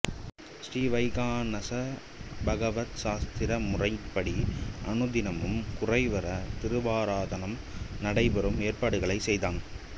ஸ்ரீவைகாநஸ பகவத்சாஸ்திர முறைப்படி அனுதினமும் குறைவர திருவாராதனம் நடைபெறும் ஏற்பாடுகளைச் செய்தான்